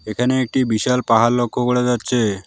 এখানে একটি বিশাল পাহাড় লক্ষ করা যাচ্ছে।